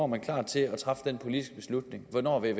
man klar til at træffe den politiske beslutning hvornår er